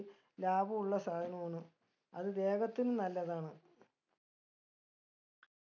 ലാഭുള്ള സാധനോണ് അത് ദേഹത്തിനും നല്ലതാണ്